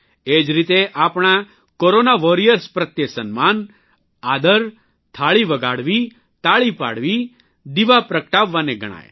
એ જ રીતે આપણા કોરોના વોરિયર્સયોદ્ધાઓ પ્રત્યે સન્માન આદર થાળી વગાડવી તાળી પાડવી દિવા પ્રગટાવવાને ગણાય